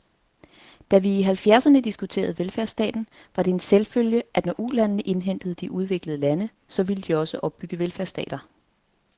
Da vi i halvfjerdserne diskuterede velfærdsstaten, var det en selvfølge, at når ulandene indhentede de udviklede lande, så ville de også opbygge velfærdsstater.